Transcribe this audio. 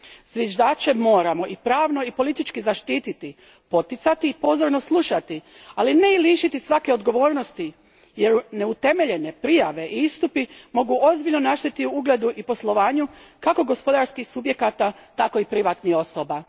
Zviždače moramo i pravno i politički zaštititi, poticati i pozorno slušati, ali ne i lišiti svake odgovornosti jer neutemeljene prijave i istupi mogu ozbiljno naštetiti ugledu i poslovanju kako gospodarskih subjekata tako i privatnih osoba.